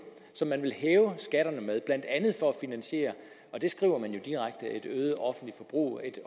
som man vil hæve skatterne med blandt andet for at finansiere og det skriver man jo direkte et øget offentligt forbrug et